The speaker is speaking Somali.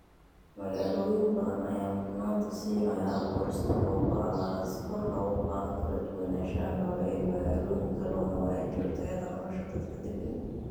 Magaalooyin badan ayaa mudnaanta siinaya abuurista goobo cagaaran si kor loogu qaado kala duwanaanshaha noole ee magaalooyinka loona wanaajiyo tayada nolosha dadka deggan.